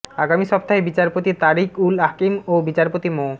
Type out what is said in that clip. আগামী সপ্তাহে বিচারপতি তারিক উল হাকিম ও বিচারপতি মো